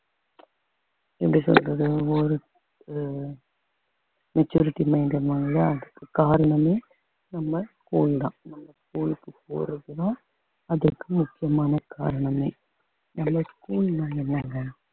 எப்படி சொல்றது ஒவ்வொரு ஓ~ maturity maintain பண்ணுவாங்க இல்லையா அதுக்கு காரணமே நம்ம school தான் நம்ம school க்கு போறதுதான் அதுக்கு முக்கியமான காரணமே ஏன்னா school தா எல்லாங்க